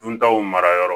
Duntaw marayɔrɔ